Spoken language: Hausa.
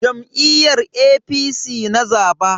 Jam'iyyar APC na zaba.